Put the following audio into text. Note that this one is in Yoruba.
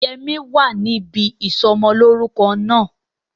Yẹmí wa níbi ìsọmọlórúko náà